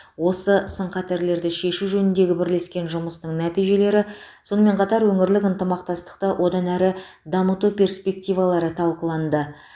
осы сын қатерлерді шешу жөніндегі бірлескен жұмысының нәтижелері сонымен қатар өңірлік ынтымақтастықты одан әрі дамыту перспективалары талқыланды